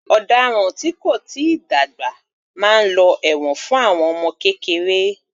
Ọ̀daràn tí kò tíì dàgbà máa lọ ẹ̀wọ̀n fún àwọn ọmọ kékeré